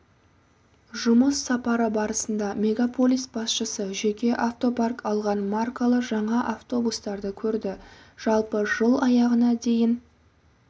жұмыс сапары барысында мегаполис басшысы жеке автопарк алған маркалы жаңа автобустарды көрді жалпы жыл аяғына дейін